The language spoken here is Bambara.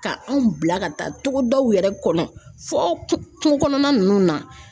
Ka anw bila ka taa togodaw yɛrɛ kɔnɔ fɔ kungo kɔnɔna ninnu na.